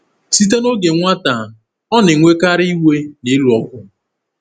Site n’oge nwata, ọ na-enwekarị iwe na ịlụ ọgụ.